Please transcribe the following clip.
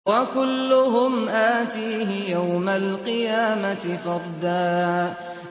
وَكُلُّهُمْ آتِيهِ يَوْمَ الْقِيَامَةِ فَرْدًا